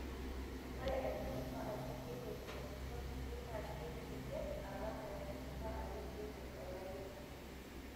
Ore entisipa ajo keidip entito sukuul naa keikiti alang entisipa ajo keidip olayioni.